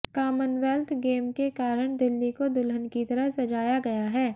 commonwealth game के कारण दिल्ली को दुल्हन की तरह सजाया गया है